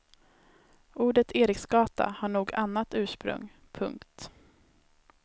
Ordet eriksgata har nog annat ursprung. punkt